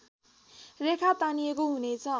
रेखा तानिएको हुनेछ